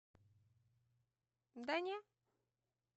да не